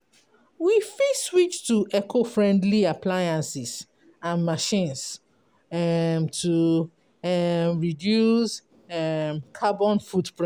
We fit switch to eco-friendly appliances and machines to reduce carbon footprint